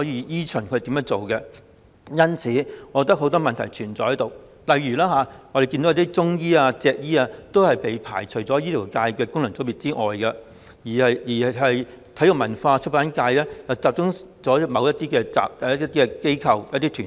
因此，我認為當中存在很多問題，例如很多中醫和脊醫被排除在醫學界功能界別外，而體育、演藝、文化和出版界又集中在某些機構和團體。